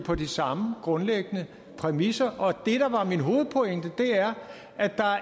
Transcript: på de samme grundlæggende præmisser og det der var min hovedpointe er at der